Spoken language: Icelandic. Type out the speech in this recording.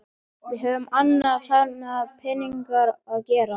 Við höfum annað þarfara við peningana að gera.